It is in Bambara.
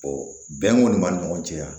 bɛn kɔni b'a ni ɲɔgɔn cɛ yan